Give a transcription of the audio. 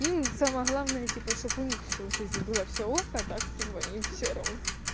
им самое главное типа чтобы у них всё в жизни было всё ок ак так им типа всё равно